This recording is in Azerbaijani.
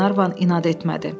Qlenarvan inad etmədi.